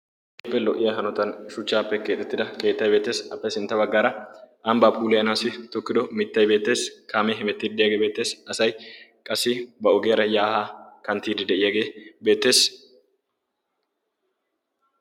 keehippe lo''iya haontan shuchchappe keexxetida keettay beettees. Appe sintta baggara ambba pulayanassi tokkido mittay beettees, kaame hemettiyaage beettees, asay qassi ba ogiyaara ya ha kanttide de'iyaage beettees.